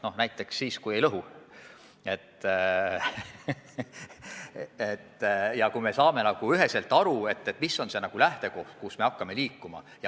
No näiteks siis, kui me ei lõhu ja kui me saame üheselt aru, mis on see lähtekoht, kust me hakkame liikuma.